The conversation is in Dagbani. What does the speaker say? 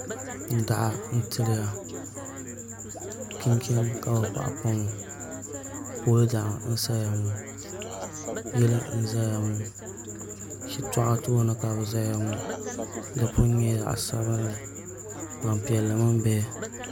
Daɣu n tiliya chinchin ka bi paɣi pa ŋɔ pool daɣu n saya ŋɔ yili n ʒɛya ŋɔ shitɔɣu tooni ka di ʒɛya ŋɔ di puni nyɛla zaɣ sabinli Gbanpiɛli mini bihi